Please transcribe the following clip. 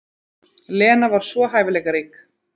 Lena var svo hæfileikarík.